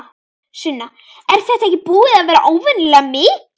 Sunna: Er þetta ekki búið að vera óvenju mikið?